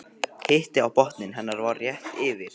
Hiti á botni hennar var rétt yfir